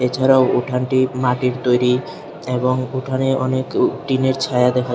এছাড়াও উঠানটি মাটির তৈরী এবং উঠানে অনেক উ টিনের ছায়া দেখা--